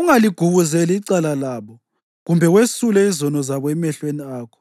Ungaligubuzeli icala labo kumbe wesule izono zabo emehlweni akho,